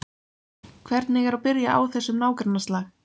Hvernig er að byrja á þessum nágrannaslag?